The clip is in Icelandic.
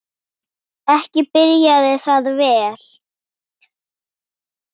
Ekki byrjaði það vel!